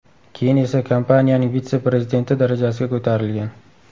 Keyin esa kompaniyaning vitse-prezidenti darajasiga ko‘tarilgan.